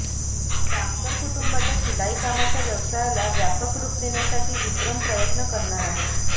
जामकर कुटुंबाच्या शिलाईकामाच्या व्यवसायाला व्यापक रुप देण्यासाठी विक्रम प्रयत्न करणार आहे